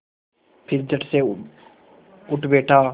फिर झटसे उठ बैठा